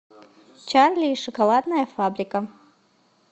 чарли и шоколадная фабрика